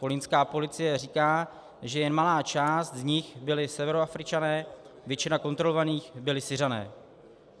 Kolínská policie říká, že jen malá část z nich byli Severoafričané, většina kontrolovaných byli Syřané.